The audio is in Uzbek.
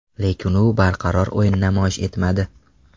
Lekin u barqaror o‘yin namoyish etmadi.